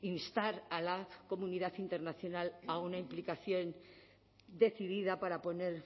instar a la comunidad internacional a una implicación decidida para poner